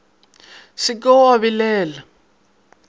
se ke wa ba balela